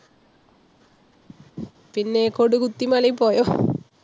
പിന്നെ കൊടികുത്തിമലയിൽ പോയോ?